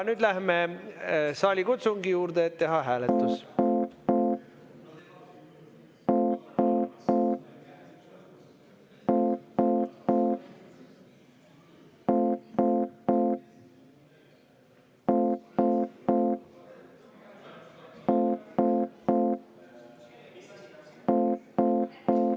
Nüüd läheme saalikutsungi juurde, et teha hääletus.